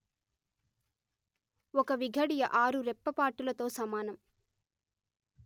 ఒక విఘడియ ఆరు రెప్పపాటులతో సమానం